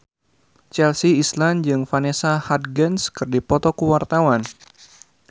Chelsea Islan jeung Vanessa Hudgens keur dipoto ku wartawan